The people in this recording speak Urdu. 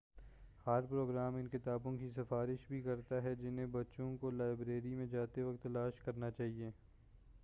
ہر پروگرام ان کتابوں کی سفارش بھی کرتا ہے جنہیں بچوں کو لائبریری میں جاتے وقت تلاش کرنا چاہیے